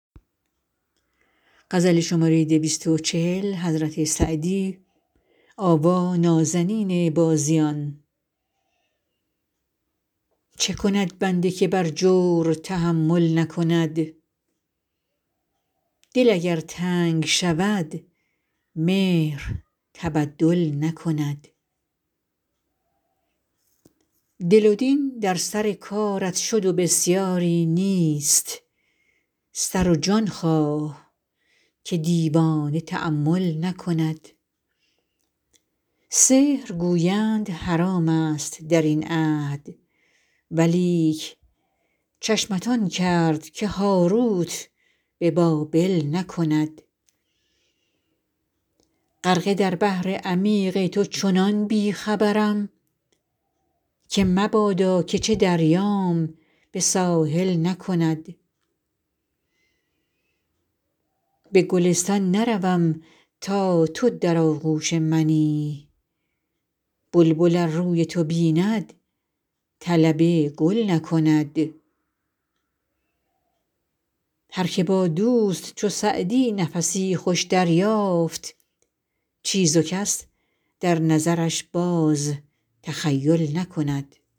چه کند بنده که بر جور تحمل نکند دل اگر تنگ شود مهر تبدل نکند دل و دین در سر کارت شد و بسیاری نیست سر و جان خواه که دیوانه تأمل نکند سحر گویند حرام ست در این عهد ولیک چشمت آن کرد که هاروت به بابل نکند غرقه در بحر عمیق تو چنان بی خبرم که مبادا که چه دریام به ساحل نکند به گلستان نروم تا تو در آغوش منی بلبل ار روی تو بیند طلب گل نکند هر که با دوست چو سعدی نفسی خوش دریافت چیز و کس در نظرش باز تخیل نکند